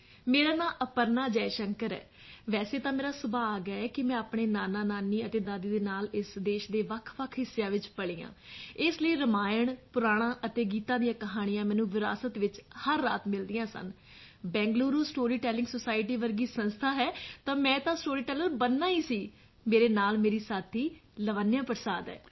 ਮੇਰਾ ਨਾਂ ਅਪਰਨਾ ਜੈ ਸ਼ੰਕਰ ਹੈ ਵੈਸੇ ਤਾਂ ਮੇਰਾ ਸੁਭਾਗ ਹੈ ਕਿ ਮੈਂ ਆਪਣੇ ਨਾਨਾਨਾਨੀ ਅਤੇ ਦਾਦੀ ਦੇ ਨਾਲ ਇਸ ਦੇਸ਼ ਦੇ ਵੱਖਵੱਖ ਹਿੱਸਿਆਂ ਵਿੱਚ ਪਲੀ ਹਾਂ ਇਸ ਲਈ ਰਮਾਇਣ ਪੁਰਾਣਾਂ ਅਤੇ ਗੀਤਾ ਦੀਆਂ ਕਹਾਣੀਆਂ ਮੈਨੂੰ ਵਿਰਾਸਤ ਵਿੱਚ ਹਰ ਰਾਤ ਮਿਲਦੀਆਂ ਸਨ ਅਤੇ ਬੰਗਲੁਰੂ ਸਟੋਰੀ ਟੈਲਿੰਗ ਸੋਸਾਇਟੀ ਵਰਗੀ ਸੰਸਥਾ ਹੈ ਤਾਂ ਮੈਂ ਤਾਂ ਸਟੋਰੀ ਟੈਲਰ ਬਣਨਾ ਹੀ ਸੀ ਮੇਰੇ ਨਾਲ ਮੇਰੀ ਸਾਥੀ ਲਾਵਣਯਾ ਪ੍ਰਸਾਦ ਹੈ